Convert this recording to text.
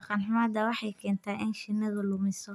Dhaqan xumada waxay keentaa in shinnidu lumiso.